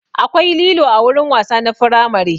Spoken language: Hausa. Akwai lilo a wurin wasa na firamare